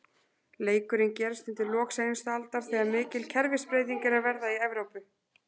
Leikurinn gerist undir lok seinustu aldar, þegar mikil kerfisbreyting er að verða í Evrópu.